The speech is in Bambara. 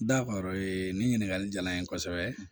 nin ɲininkali diyara n ye kosɛbɛ